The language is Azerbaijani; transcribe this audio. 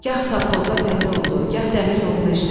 Gah safxozda fəhlə oldu, gah dəmir yolunda işlədi.